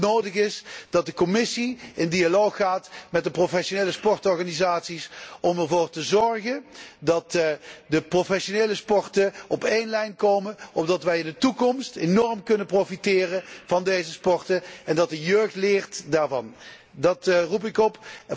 Daarom is het nodig dat de Commissie in dialoog gaat met de professionele sportorganisaties, om ervoor te zorgen dat de professionele sporten op één lijn komen, opdat wij in de toekomst enorm kunnen profiteren van deze sporten en dat de jeugd daarvan leert. Daartoe roep ik op.